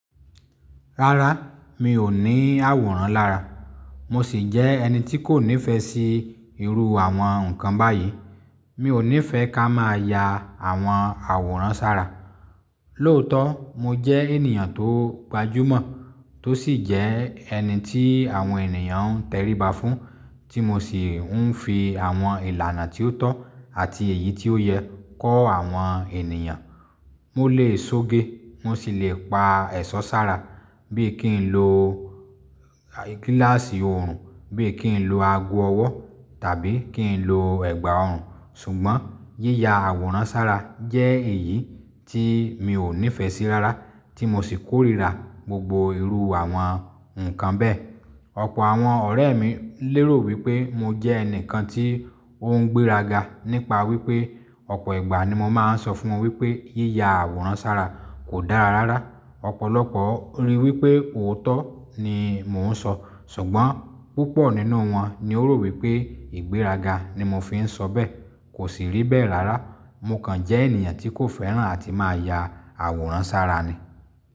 Rárá, mi ò ní àwòrán lára. Mo sì jẹ́ ẹni tí kò nífẹ̀ẹ́ sí irú àwọn nǹkan báyìí. Mi ò nífẹ́ ká máa ya àwọn àwòrán sára. Lóòótọ́, mo jẹ́ ènìyàn tó gbajúmọ̀ tó sì jẹ́ ẹni tí àwọn ènìyàn ń tẹríba fún, tí mo sì ń fi àwọn ìlànà tí ó tọ́ àti èyí tí ó yẹ kọ́ àwọn ènìyàn. Mo lè sóge, mo sì lè pa ẹ̀ṣọ́ sára bí kì ń lo gíláàsì òòrùn, bí kì ń lo ago ọwọ́ tàbí kì ń lo ẹ̀gbà òòrùn. Ṣùgbọ́n yíya àwòrán sára jẹ́ èyí tí mi ò nífẹ̀ẹ́ sí rárá tí mo sì kórìíra gbogbo irú àwọn nǹkan bẹ́ẹ̀. Ọ̀pọ̀ àwọn ọ̀rẹ́ mi lérò wípé mo jẹ́ ẹnìkan tí ó ń gbéraga nípa wípé ọ̀pọ̀ ìgbà ni mo máa ń sọ fún wọ́n wípé yíya àwòrán sára kò dára rárá. Ọ̀pọ̀lọpọ̀ rí wípé òótọ́ ni mò ń sọ, ṣùgbọ́n púpọ̀ nínú wọn ni ó rò wípé ìgbéraga ni mo fi ń sọ bẹ́ẹ̀. Kò sì rí bẹ́ẹ̀ rárá, mo kàn jẹ́ ènìyàn tí kò fẹ́ràn àti máa ya àwòrán sára ni.